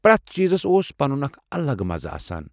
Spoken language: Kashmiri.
پرٮ۪تھ چیٖزس اوس پنن اکھ الگ مزٕ آسان۔